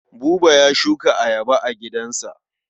Buba ya shuka ayaba a gidansa.